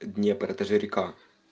днепр это же река